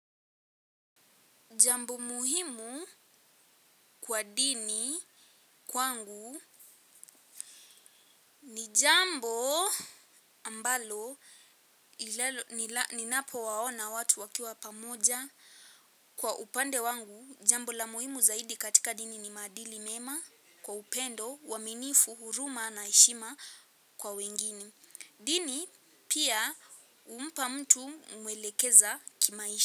Jambo muhimu kwa dini kwangu ni jambo ambalo ninapowaona watu wakiwa pamoja kwa upande wangu jambo la muhimu zaidi katika dini ni maadili mema kwa upendo uaminifu huruma na heshima kwa wengine. Dini pia inampa mtu kumwelekeza kimaisha.